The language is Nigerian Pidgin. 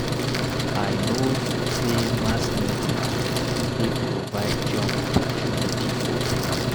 I know sey mass media dey provide job opportunity for pipo.